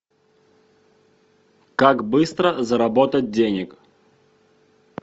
как быстро заработать денег